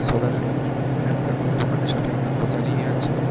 দোকানের সামনে একটা টোটো দাঁড়িয়ে আছে।